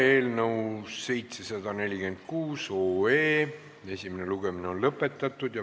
Eelnõu 746 esimene lugemine on lõpetatud.